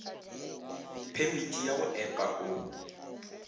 phemiti ya go epa o